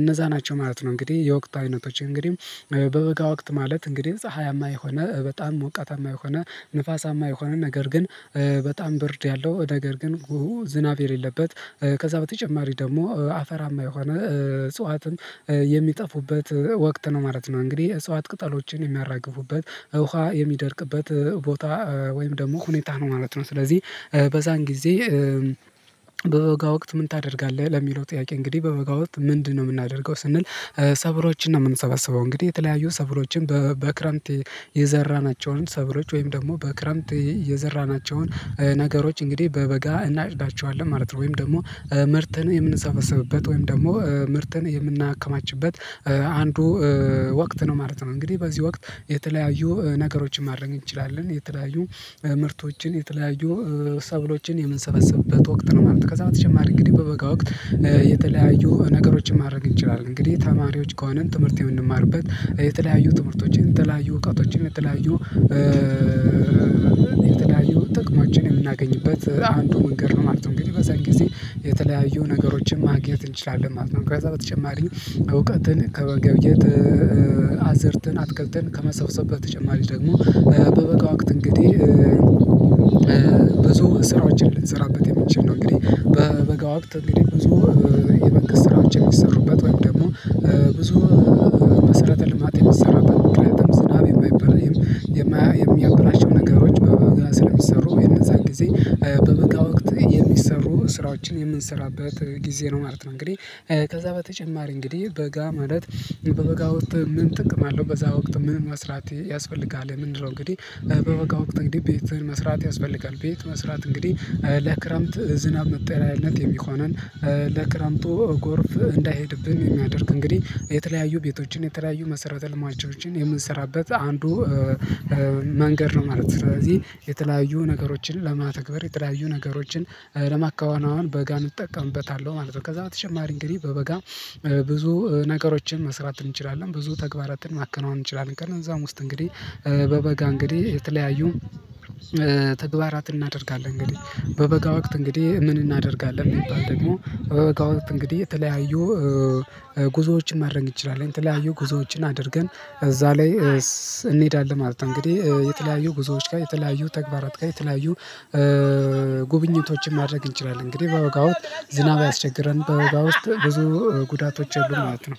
እነዛ ናቸው ማለት ነው። እንግዲህ የወቅት አይነቶች እንግዲህ በበወጋ ወቅት ማለት እንግዲህ ፀሀያማ የሆነ በጣም ሞቃታማ የሆነ ንፋሳማ የሆነ ነገር ግን በጣም ብርድ ያለው ነገር ግን ዝናብ የሌለበት ከዛ በተጨማሪ ደግሞ አፈራማ የሆነ እጽዋት የሚጠፉበት ወቅት ነው። ማለት ነው እንግዲህ እፅዋት ቅጠሎችን የሚያራግፉበት ውሃ የሚደርቅበት ቦታ ወይም ደግሞ ሁኔታ ነው ማለት ነው። ስለዚህ በዛን ጊዜ በወጋ ወቅት ምን ታደርጋለህ ለሚለው ጥያቄ እንግዲህ በበጋ ወቅት ምንድነው? የምናደርገው ስንል ሰብሎችን ነው የምንሰበሰበው እንግዲህ የተለያዩ ሰብሎችን በክረምት የዘራናቸውን ሰብሎች ወይም ደግሞ በክረምት የዘራናቸውን ነገሮች እንግዲህ በበጋ እናጭዳቸዋለን ማለት ነው ወይም ደግሞ ምርትን የምንሰበሰብበት ወይም ደግሞ ምርትን የምናከማችበት አንዱ ወቅት ነው ማለት ነው። እንግዲህ በዚህ ወቅት የተለያዩ ነገሮችን ማድረግ እንችላለን የተለያዩ ምርቶችን የተለያዩ ሰብሎችን የምንሰበስበት ወቅት ነው ማለት ነው። ከዛ በተጨማሪ እንግዲህ በበጋ ወቅት የተለያዩ ነገሮችን ማድረግ እንችላለን እንግዲህ ተማሪዎች ከሆንን ትምህርት የምንማርበት የተለያዩ ትምህርቶችን የተለያዩ እውቀቶችን የተለያዩ የተለያዩ ጥቅሞችን የምናገኝበት አንዱ መንገድ ነው ማለት ነው። እንግዲህ በዛን ጊዜ የተለያዩ ነገሮችን ማግኘት እንችላለን ማለት ነው። ከዛ በተጨማሪም እውቀትን ከመገብየት አዝእርትን አትክልትን ከመሰብሰብ በተጨማሪ ደግሞ በበቃ ወቅት እንግዲህ ብዙ ስራዎችን ልንሰራበት የምንችል ነው። እንግዲህ በበጋ ወቅት እንግዲህ ብዙ የመንግስት ስራዎች የሚሰሩበት ወይም ደግሞ ብዙ መሰረተ ልማት የሚሰራበት ምክንያቱም ዝናብ የሚያበላሽው ነገሮች በበጋ ስለሚሰሩ ወይ እነዛን ጊዜ በበጋ ወቅት የሚሰሩ ስራዎችን የምንሰራበት ጊዜ ነው ማለት ነው። እንግዲህ ከዛ በተጨማሪ እንግዲህ በጋ ማለት በበጋ ወጥተህ ምን ጥቅም አለው በዛ ወቅት ምን መስራት ያስፈልጋል ምንድነው? እንግዲህ በበጋ ወቅት እንግዲህ ቤት መስራት ያስፈልጋል። ቤት መስራት እንግዲህ ለክረምት ዝናብ መጠሪያነት የሚሆነን ለክረምቱ ጎርፍ እንዳይሄድብን የሚያደርግ እንግዲህ የተለያዩ ቤቶችን የተለያዩ መሰረተ ልማቶችን የምንሰራበት አንዱ መንገድ ነው ማለት ነው። ስለዚህ የተለያዩ ነገሮችን ለመተግበር የተለያዩ ነገሮችን ለማከናወን በጋን እንጠቀምበታለሁ ማለት ነው። ከዛ በተጨማሪ እንግዲህ በበጋ ብዙ ነገሮችን መስራት እንችላለን ብዙ ተግባራትን ማከናወን እንችላለን። ከነዛም ውስጥ እንግዲህ በበጋ እንግዲህ የተለያዩ ተግባራትን እናደርጋለን እንግዲህ በበጋ ወቅት እንግዲህ ምን እናደርጋለን ቢባል ደግሞ በበጋ የተለያዩ ጉዞዎችን ማድረግ እንችላለን የተለያዩ ጉዞዎችን አድርገን እዛ ላይ እንሄዳለን ማለት ነው። እንግዲህ የተለያዩ ጉዞዎች ጋር የተለያዩ ተግባራት ጋር የተለያዩ ጉብኝቶችን ማድረግ እንችላለን። እንግዲህ በወጋው ዝናብ አያስቸግረን በወጋ ውስጥ ብዙ ጉዳቶች የሉም ማለት ነው።